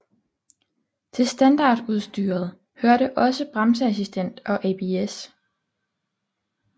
Til standardudstyret hørte også bremseassistent og ABS